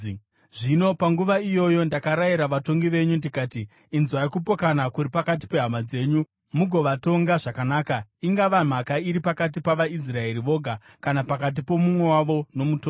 Zvino panguva iyoyo ndakarayira vatongi venyu, ndikati: Inzwai kupokana kuri pakati pehama dzenyu mugovatonga zvakanaka, ingava mhaka iri pakati pavaIsraeri voga kana pakati pomumwe wavo nomutorwa.